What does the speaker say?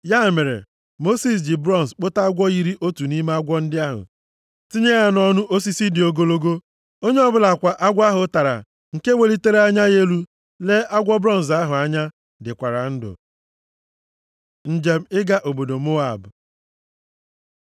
Ya mere, Mosis ji bronz kpụta agwọ yiri otu nʼime agwọ ndị ahụ, tinye ya nʼọnụ osisi dị ogologo. Onye ọbụla kwa agwọ ahụ tara nke welitere anya ya elu lee agwọ bronz ahụ anya, dịkwara ndụ. Njem ịga obodo Moab